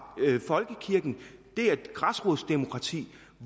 at folkekirken er et græsrodsdemokrati